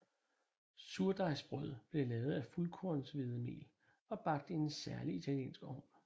Surdejsbrødet blev lavet af fuldkornshvedemel og bagt i en særlig italiensk ovn